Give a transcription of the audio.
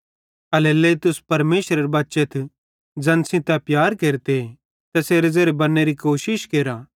एल्हेरेलेइ तुस परमेशरेरे बच्चेथ ज़ैन सेइं तै प्यार केरते तैसेरे ज़ेरे बन्नेरी कोशिश केरा